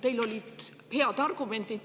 Teil olid head argumendid.